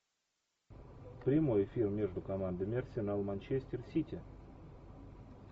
прямой эфир между командами арсенал манчестер сити